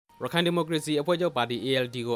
ရခိုင်ဒီမိုကရေစီအဖွဲ့ချုပ်ပါတီ ALD ကိ